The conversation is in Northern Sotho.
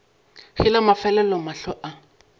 ge la mafelelo mahlo a